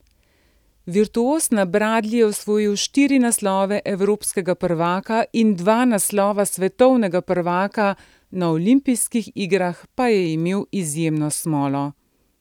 Virtuoz na bradlji je osvojil štiri naslove evropskega prvaka in dva naslova svetovnega prvaka, na olimpijskih igrah pa je imel izjemno smolo.